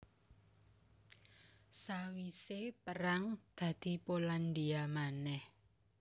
Sawisé perang dadi Polandia manèh